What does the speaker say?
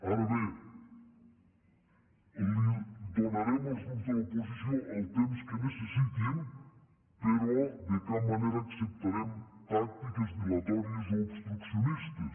ara bé donarem als grups de l’oposició el temps que necessitin però de cap manera acceptarem tàctiques dilatòries o obstruccionistes